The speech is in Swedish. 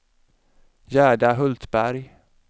Gerda Hultberg